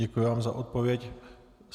Děkuji vám za odpověď.